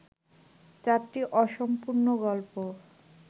চারটি অসম্পূর্ণ গল্প